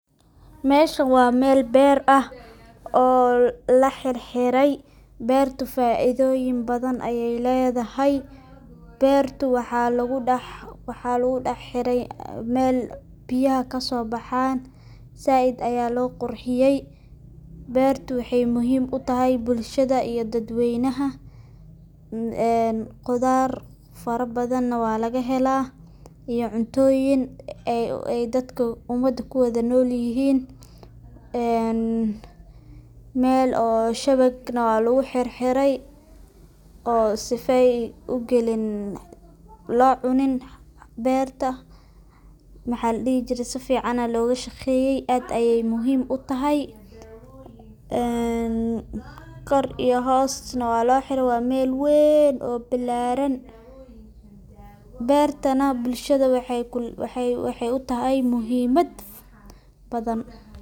Meshan waa meel beer ah oo lahirhirey beerta faida badan ayay leedahay, beerta waxalagudah hirey meel biyaha kasobahan zaid aya loo qurxiyey beerta wahay muhim utahay bulshada iyo dadweynaha een qudhar farabadhane walagahela iyo cuntoyin ay dadka umada kuwada nolyixin een meel oo shawegnex waalagu hirhiray oo sifey ugalin loo cunin berta maxaladihi jire sifican aya looga shaqeye aad ayay muhiim utahay een kor iyo hoosnex waalohire waa meel wen oo bilaran beerta nex bulshada waxay utahay muhimad badhan.